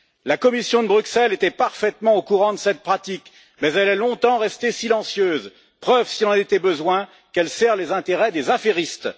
La Commission de Bruxelles était parfaitement au courant de cette pratique, mais elle est longtemps restée silencieuse, preuve s'il en était besoin, qu'elle sert les intérêts des affairistes.